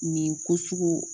Nin ko sugu